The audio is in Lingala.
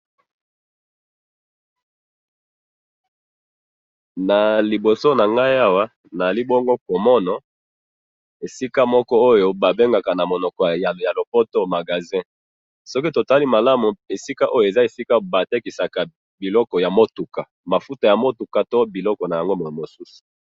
Naliboso na nga awa, nazali komono esika ba bengi na lopoto magasin, soki totali bien eza esika batekaka ba mafuta ya motuka to biloko na yango.